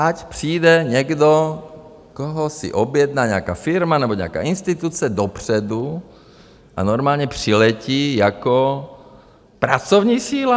Ať přijde někdo, koho si objednali, nějaká firma nebo nějaká instituce dopředu a normálně přiletí jako pracovní síla.